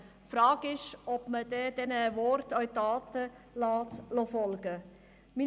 Die Frage ist nur, ob man den Worten auch Taten folgen lässt.